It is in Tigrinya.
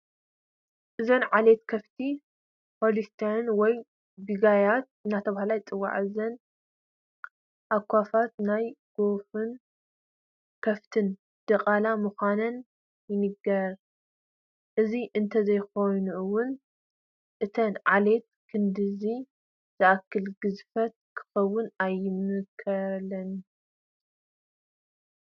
እዘን ዓሌት ከፍቲ ሆሊስታይን ወይ ቢጋይት እናተባህላ ይፅዋዓ፡፡ እዘን ኣኻፍት ናይ ጐሽን ከፍትን ድቓላ ምዃነን ይንገር፡፡ እዚ እንተዘይኸውን እዘን ዓሌት ክንድዚ ዝኣክል ግዝፈት ክህልወን ኣይምኸኣለን፡፡